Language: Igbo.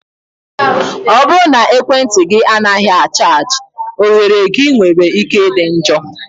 ọ bụrụ na ekwentị gị anaghị a chaji, oghere gị nwere ike ịdị njọ.